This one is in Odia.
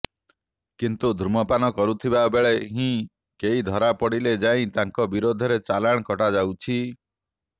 କିନ୍ତୁ ଧୂମପାନ କରୁଥିବାବେଳେ ହିଁ କେହି ଧରାପଡ଼ିଲେ ଯାଇ ତାଙ୍କ ବିରୋଧରେ ଚାଲାଣ କଟାଯାଉଛି